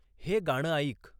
हे गाणं ऐक